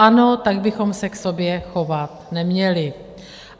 Ano, tak bychom se k sobě chovat neměli!